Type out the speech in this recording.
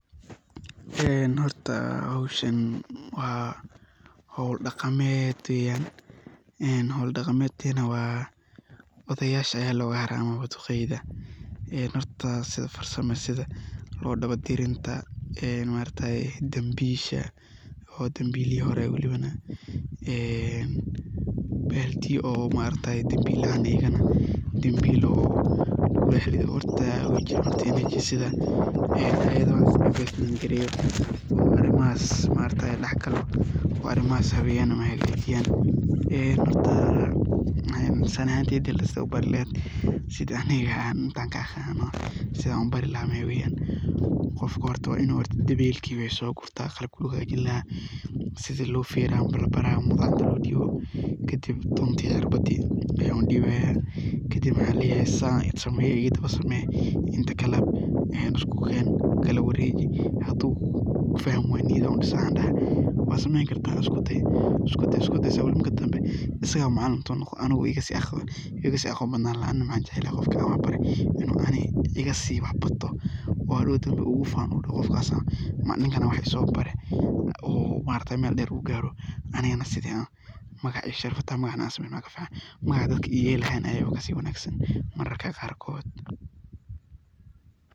Een howshan waa howl daqameed weyaan, howl daqameedna odayasha ayaa loga hara ama duqeyda . Horta farsamdha sidaa lo daba tarinta, dambisha oo dambilihi hore ah een baldiyaa oo dambilahan horta ayago laga bajin gareyo arimahas dahgalan oo arimahas habeyaaan. Sidhan u barii laha maxa weyan qofka horta waa inu dabelka so gurtaa, qalabka lagu xaga jini laha sidhey u feraan labari laha kadib dunta iyo irbadi ayan u dibayaa ,kadib waxan leyahay sidhan u samee, isku ken ,kala wareji ,hadu fahmi wayo dhiro gelinaya waxan dahaya isku daay ,sumey .Iskudey iskudey san u leyahay marki danbe wuxu noqonaya aniga hita wuu iga sii macalin sananaya ,anaa waxan jeclahay qofki wax baree inu iga sii wax barto oo hadow igu fanoo oo u dhaho ninkana wax iso baree oo hadow uu mel dheer u garo ilahana aya kasii wanagsan mararka qarkod .